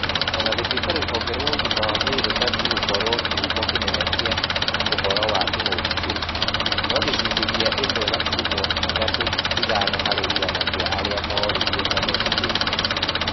O na gũtuika rũhonge rwa ũgima wa mwĩrĩ rũbatie gũkorwo kĩhumo kĩnene kĩa ũhoro wa king'uki kĩu, no gĩcunjĩ kĩa ĩmwe gaturumo ithatũ ithano harĩ igana kĩa arĩa mooririo mametĩkĩtie.